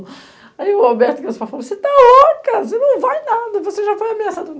Aí o Alberto, que era o subprefeito, falou, você está louca, você não vai em nada, você já foi ameaçado.